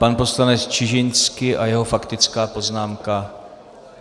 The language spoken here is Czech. Pan poslanec Čižinský a jeho faktická poznámka.